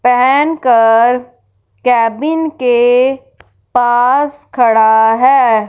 पहन कर केबिन के पास खड़ा है।